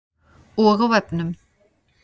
Og á vefnum.